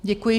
Děkuji.